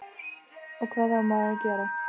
og hvað á maður að gera?